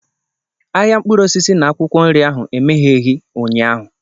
Ahịa mkpụrụ osisi na akwụkwọ nri ahụ emegheghị ụnyaahụ